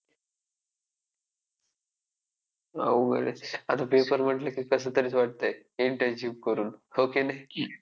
अवघड आहे. आता paper म्हंटलं की कसंतरीच वाटतंय internship करुन, हो की नाही?